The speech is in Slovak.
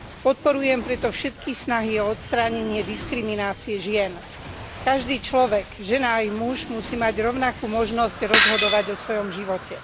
Podporujem preto všetky snahy o odstránenie diskriminácie žien. Každý človek, žena aj muž musí mať rovnakú možnosť rozhodovať o svojom živote.